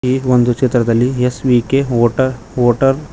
ಈ ಒಂದು ಚಿತ್ರದಲ್ಲಿ ಎಸ್_ವಿ_ಕೆ ಮೋಟ ಮೋಟಾರ್ .